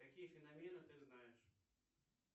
какие феномены ты знаешь